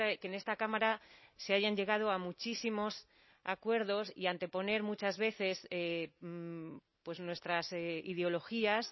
que en esta cámara se hayan llegado a muchísimos acuerdos y anteponer muchas veces pues nuestras ideologías